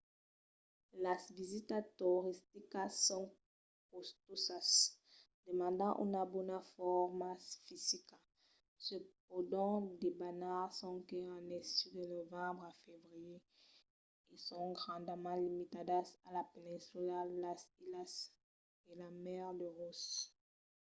las visitas toristicas son costosas demandan una bona forma fisica se pòdon debanar sonque en estiu de novembre a febrièr e son grandament limitadas a la peninsula las islas e la mar de ross